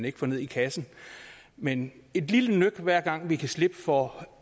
ikke får ned i kassen men et lille nøk hver gang vi kan slippe for